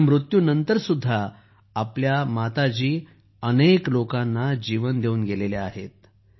पण मृत्युनंतरही आपल्या माताजींनी अनेक लोकांना जीवन देऊन गेल्या आहेत